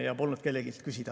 Polnud kelleltki küsida.